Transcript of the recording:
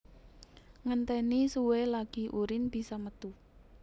Ngentèni suwe lagi urin bisa metu